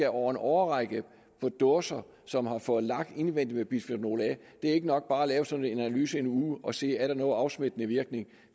over en årrække for dåser som har fået lak indvendig med bisfenol a det er ikke nok bare at lave sådan en analyse en uge og se er nogen afsmittende virkning